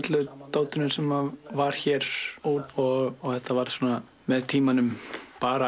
dótinu sem var hér út og þetta varð með tímanum bara